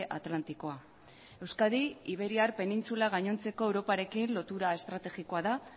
atlantikoa euskadi iberiar penintsula gainontzeko europarekin lotura estrategikoa da